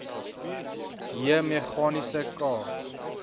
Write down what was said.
j meganiese k